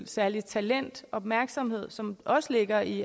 særligt talent undskyld opmærksomhed som også ligger i